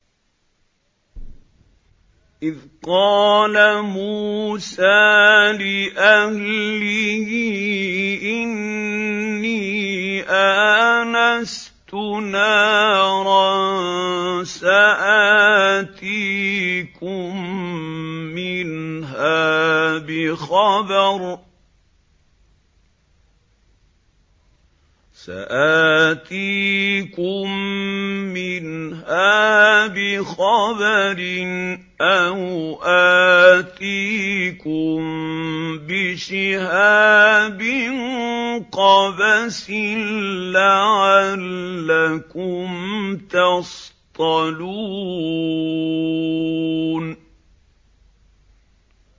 إِذْ قَالَ مُوسَىٰ لِأَهْلِهِ إِنِّي آنَسْتُ نَارًا سَآتِيكُم مِّنْهَا بِخَبَرٍ أَوْ آتِيكُم بِشِهَابٍ قَبَسٍ لَّعَلَّكُمْ تَصْطَلُونَ